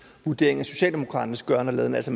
vurdering af socialdemokratiets gøren og laden altså